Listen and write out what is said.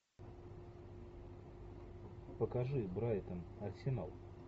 покажи брайтон арсенал